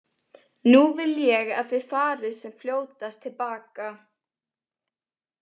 Nú vil ég að þið farið sem fljótast til baka.